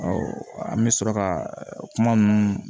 an bɛ sɔrɔ ka kuma ninnu